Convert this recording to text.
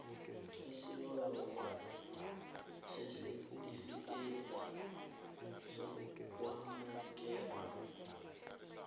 isibawo sesitifikethi sokwamukelwa